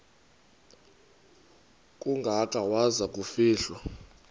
kangaka waza kufihlwa